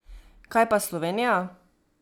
Kaj pa Slovenija?